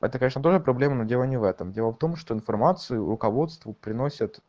это конечно тоже проблема но дело не в этом дело в том что информацию руководству приносят